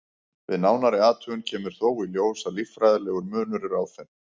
Við nánari athugun kemur þó í ljós að líffærafræðilegur munur er á þeim.